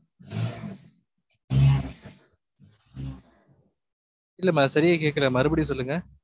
இல்லமா சரியா கேக்கல மறுபடியும் சொல்லுங்க